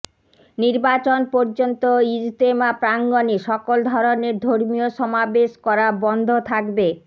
নির্বাচন পর্যন্ত ইজতেমা প্রাঙ্গনে সকল ধরনের ধর্মীয় সমাবেশ করা বন্ধ থাকবে